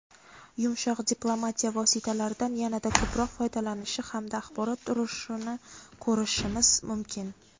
yumshoq diplomatiya vositalaridan yanada ko‘proq foydalanishi hamda axborot urushini ko‘rishimiz mumkin.